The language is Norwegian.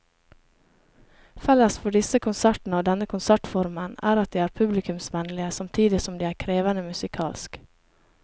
Felles for disse konsertene og denne konsertformen er at de er publikumsvennlige samtidig som de er krevende musikalsk.